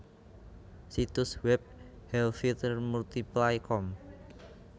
Situs web helvytr multiply com